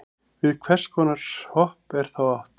við hvers konar hopp er þá átt